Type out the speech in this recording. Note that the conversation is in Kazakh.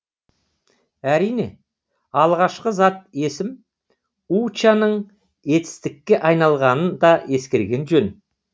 әрине алғашқы зат есім уча ның етістікке айналғанын да ескерген жөн